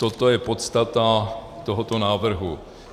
Toto je podstata tohoto návrhu.